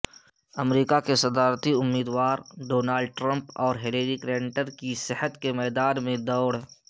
امریکہ کے صدارتی امیدوار ڈونلڈ ٹرمپ اورہلیری کلنٹن کی صحت کے میدان میں دوڑ